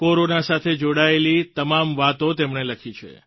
corona સાથે જોડાયેલી તમામ વાતો તેમણે લખી છે